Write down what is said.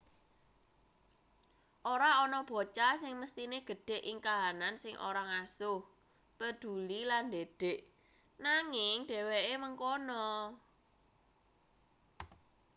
ora ana bocah sing mesthine gedhe ing kahanan sing ora ngasuh preduli lan ndidik nanging dheweke mengkono